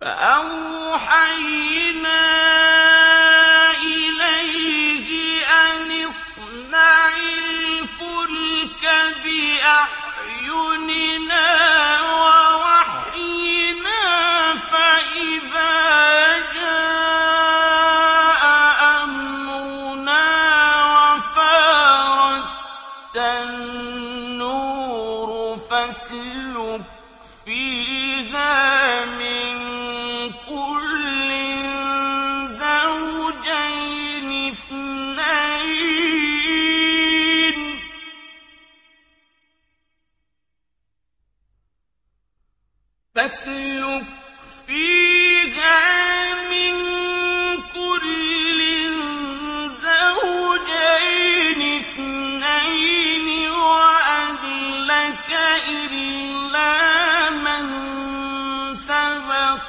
فَأَوْحَيْنَا إِلَيْهِ أَنِ اصْنَعِ الْفُلْكَ بِأَعْيُنِنَا وَوَحْيِنَا فَإِذَا جَاءَ أَمْرُنَا وَفَارَ التَّنُّورُ ۙ فَاسْلُكْ فِيهَا مِن كُلٍّ زَوْجَيْنِ اثْنَيْنِ وَأَهْلَكَ إِلَّا مَن سَبَقَ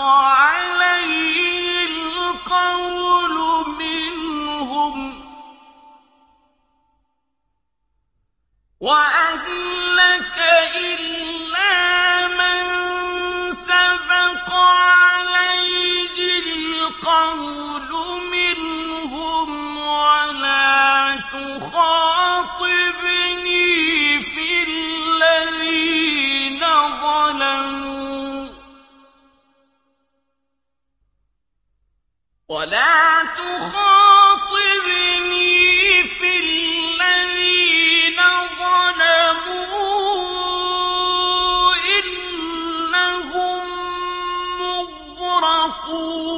عَلَيْهِ الْقَوْلُ مِنْهُمْ ۖ وَلَا تُخَاطِبْنِي فِي الَّذِينَ ظَلَمُوا ۖ إِنَّهُم مُّغْرَقُونَ